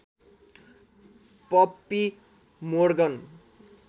puppy Morgan